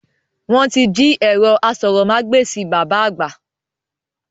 Wọn tí jí ẹ̀rọ aṣórómagbesìn bàbá àgbà